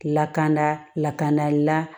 Lakan lakana la